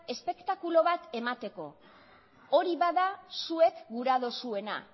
espektakulo bat emateko hori bada zuek gura duzuena